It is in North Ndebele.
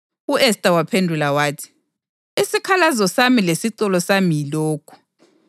U-Esta waphendula wathi, “Isikhalazo sami lesicelo sami yilokhu: